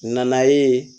Nana ye